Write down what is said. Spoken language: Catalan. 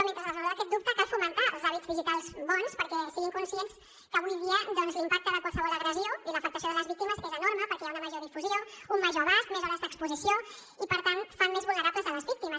mentre es resol aquest dubte cal fomentar els hàbits digitals bons perquè siguin conscients que avui dia l’impacte de qualsevol agressió i l’afectació de les víctimes és enorme perquè hi ha una major difusió un major abast més hores d’exposició i per tant fan més vulnerables les víctimes